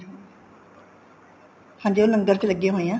ਹਾਂਜੀ ਉਹ ਲੰਗਰ ਵਿੱਚ ਲੱਗੇ ਹੋਏ ਆ